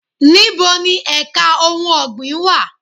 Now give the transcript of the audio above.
Níboni èka ohun ọ̀gbìn wà?